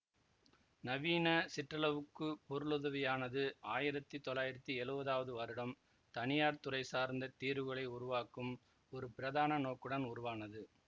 நவீன சிற்றளவு பொருளுதவியானது ஆயிரத்தி தொள்ளாயிரத்தி எழுவதாவது வருடம் தனியார் துறை சார்ந்த தீர்வுகளை உருவாக்கும் ஒரு பிரதான நோக்குடன் உருவானது